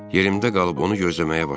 Yerimdə qalıb onu gözləməyə başladım.